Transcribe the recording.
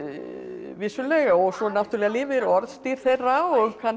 vissulega og svo náttúrulega lifir orðstír þeirra og kannski